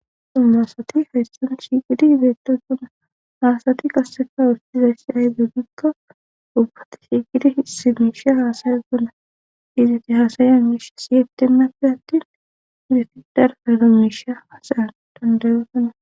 xumaasati hayssan shiqidi izeetosuna haasati qasseka wurtizayssi ahy dugdikka ubbati shiigidi hsi miisha haasayasona izati haasaya miisha siye timmappi attin udeti darafaylo miisha haasayan dandayosona